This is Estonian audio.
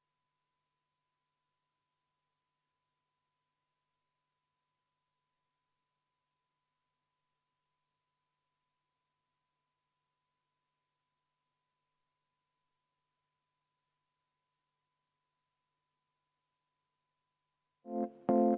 Rene Kokk, palun!